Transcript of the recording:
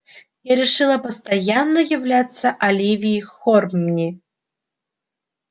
я решила постоянно являться оливии хорнби